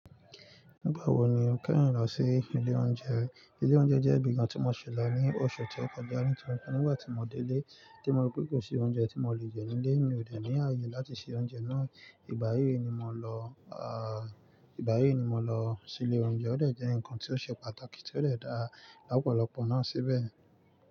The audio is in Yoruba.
Nígbà wo ni o kẹ́yin lọ sí ilé oúnjẹ? Ilé oúnjẹ jẹ́ ibi ìgba tí mo ṣè lo ní oṣù tó kọjá, nígbà tí mo dé ílé tí mo rí pé kò sí oúnjẹ tí mo le jẹ nílé, mi ò de ní àyè láti se oúnjẹ náà. Ìgbà yìí ni mo lọ, à. Ìgbà yìí ni mo lọ sí ilé oúnjẹ, ó dẹ̀ jẹ́ ǹkan tí ó ṣe pàtàkì tí ó dẹ̀ dá ọ̀pọ̀lọpọ̀ náà síbẹ̀.